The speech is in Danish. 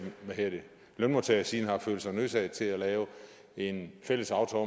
hele lønmodtagersiden har følt sig nødsaget til at lave en fælles aftale